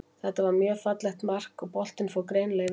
Þetta var mjög fallegt mark, og boltinn fór greinilega yfir línuna.